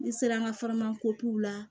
N'i sera an ka la